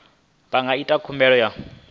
vha nga ita khumbelo ya